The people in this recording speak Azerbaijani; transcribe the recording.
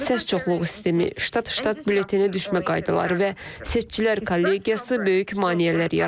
Səs çoxluğu sistemi, ştat-ştat bülletenə düşmə qaydaları və seçicilər kollegiyası böyük maneələr yaradır.